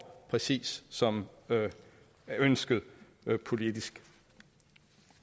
præcis som ønsket politisk